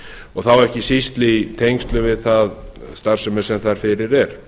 og þá ekki síst í tengslum við þá starfsemi sem fyrir er